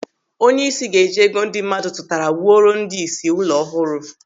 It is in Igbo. Onyeisi ga-eji ego ndị mmadụ tutara wuoro ndị ìsì ụlọ ọhụrụ.